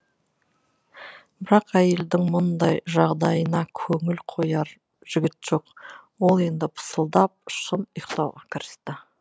бірақ әйелдің мұндай жағдайына көңіл қояр жігіт жоқ ол енді пысылдап шын ұйықтауға кірісті